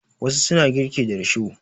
Wasu suna girki da risho.